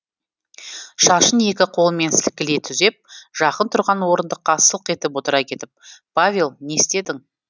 шашын екі қолымен сілкілей түзеп жақын тұрған орындыққа сылқ етіп отыра кетіп павел не істедің